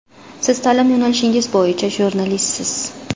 Siz ta’lim yo‘nalishingiz bo‘yicha jurnalistsiz.